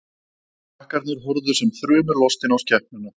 Krakkarnir horfðu sem þrumulostin á skepnuna.